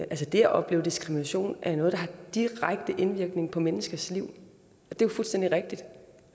at det at opleve diskrimination er noget der har direkte indvirkning på menneskers liv og det er fuldstændig rigtigt